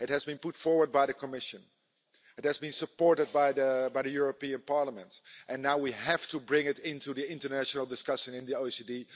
It has been put forward by the Commission and it has been supported by the European Parliament and now we have to bring it into the international discussion in the OECD.